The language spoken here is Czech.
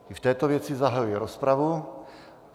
I v této věci zahajuji rozpravu.